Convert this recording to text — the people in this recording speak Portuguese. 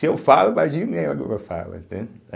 Se eu falo, imagina ela fala, entende?